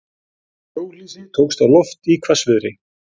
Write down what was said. Hjólhýsi tókst á loft í hvassviðri